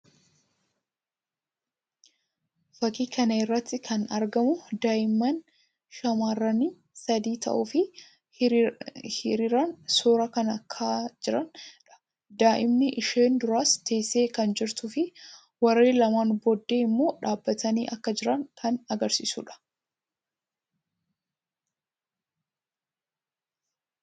Fakkii kana irratti kan argamu daa'imman shamarranii sadii ta'uu fi hiriiraan suuraa kan ka'aa jiraanii dha. Daa'imni isheen duraas teessee kan jirtuu fi warreen lamaan boodaa immoo dhaabbatanii akka jiran kan agarsiisuu dha.